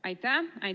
Aitäh!